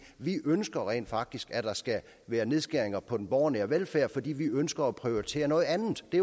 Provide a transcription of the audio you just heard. vi ønsker rent faktisk at der skal være nedskæringer på den borgernære velfærd fordi vi ønsker at prioritere noget andet det